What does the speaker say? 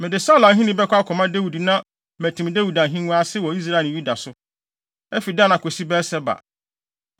Mede Saulo ahenni bɛkɔ akɔma Dawid na matim Dawid ahengua ase wɔ Israel ne Yuda so afi Dan akosi Beer-Seba.”